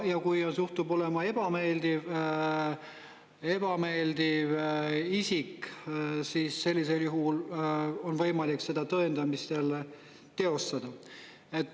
Kui see juhtub olema ebameeldiv isik, siis sellisel juhul on võimalik seda tõendamist jälle teostada.